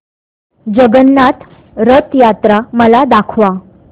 जगन्नाथ रथ यात्रा मला दाखवा